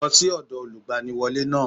Lọ́ sí ọ̀dọ̀ Olùgbaniwọ́lé náà